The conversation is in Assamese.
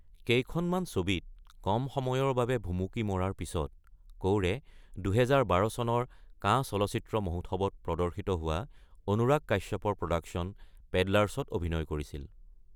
কেইখনমান ছবিত কম সময়ৰ বাবে ভুমুকি মৰাৰ পিছত কৌৰে ২০১২ চনৰ কান চলচ্চিত্ৰ মহোৎসৱত প্ৰদৰ্শিত হোৱা অনুৰাগ কাশ্যপৰ প্ৰডাকচন পেডলাৰ্ছত অভিনয় কৰিছিল।